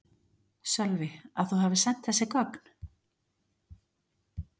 Sölvi: Að þú hafi sent þessi gögn?